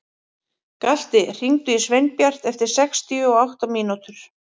Galti, hringdu í Sveinbjart eftir sextíu og átta mínútur.